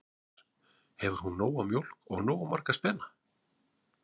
Magnús: Hefur hún nóga mjólk og nógu marga spena?